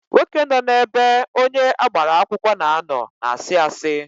Nwoke nọ na ebe onye agbara akwụkwọ na-ano na asị asị